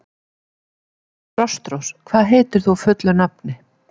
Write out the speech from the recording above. Frostrós, hvað heitir þú fullu nafni?